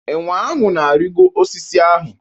Enwe ahụ ga-arịgo osisi ahụ.